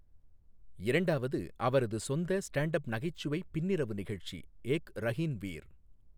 இரண்டாவது அவரது சொந்த ஸ்டாண்ட் அப் நகைச்சுவை பின்னிரவு நிகழ்ச்சி ஏக் ரஹின் வீர்.